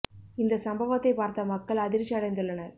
இந்த சம்பவத்தை பார்த்த மக்கள் அதிர்ச்சி அடைந்துள்ளனர்